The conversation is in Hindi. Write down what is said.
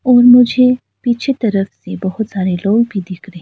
और मुझे पीछे तरफ भी बहोत सारे लोग भी दिख रहे--